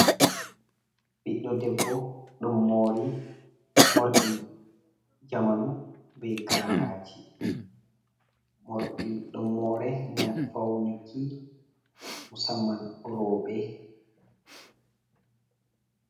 Ɓiɗɗo debbo ɗum mori morɗi zamanu be garaji morɗi ɗum more ngam faunaki musamman roɓe.